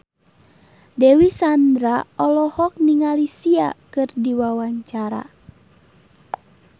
Dewi Sandra olohok ningali Sia keur diwawancara